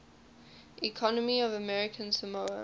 economy of american samoa